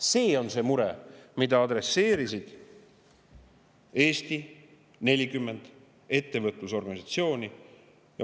See on see mure, mida Eesti 40 ettevõtlusorganisatsiooni.